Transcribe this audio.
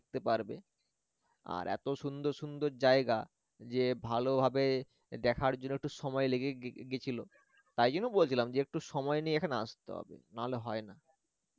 পারবে আর এত সুন্দর সুন্দর জায়গা যে ভালোভাবে দেখার জন্য একটু সময় লেগেই গে ~গে~ গেছিল তাই জন্য বলছিলাম যে একটু সময় নিয়ে এখানে আসতে হবে নাহলে হয় না